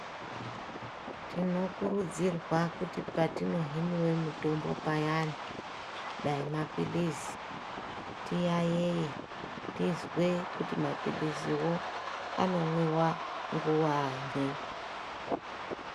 Tinokurudzirwa kuti patinohoniwa mitombo payani, dayi mapilizi, tiyayeye tizwe kuti mapiliziwo anomwiwa nguwanyi.